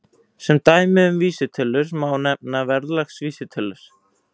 Sem dæmi um vísitölur má nefna verðlagsvísitölur.